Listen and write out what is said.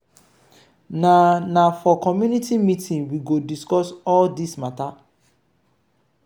na na for community meeting we go discuss all dis mata.